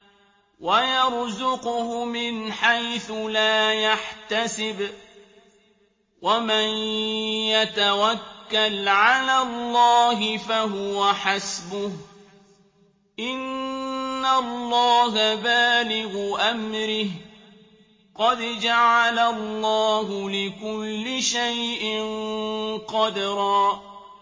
وَيَرْزُقْهُ مِنْ حَيْثُ لَا يَحْتَسِبُ ۚ وَمَن يَتَوَكَّلْ عَلَى اللَّهِ فَهُوَ حَسْبُهُ ۚ إِنَّ اللَّهَ بَالِغُ أَمْرِهِ ۚ قَدْ جَعَلَ اللَّهُ لِكُلِّ شَيْءٍ قَدْرًا